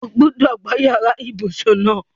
O gbúdọ̀ gbá yàrá ibùsùn náà!